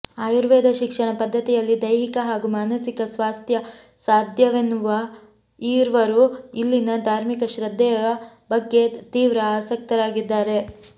ಆಯುರ್ವೇದ ಶಿಕ್ಷಣ ಪದ್ಧತಿಯಲ್ಲಿ ದೈಹಿಕ ಹಾಗೂ ಮಾನಸಿಕ ಸ್ವಾಸ್ಥ್ಯ ಸಾಧ್ಯವೆನ್ನುವ ಈರ್ವರೂ ಇಲ್ಲಿನ ಧಾರ್ಮಿಕ ಶ್ರದ್ಧೆಯ ಬಗ್ಗೆ ತೀವ್ರ ಆಸಕ್ತರಾಗಿದ್ದಾರೆ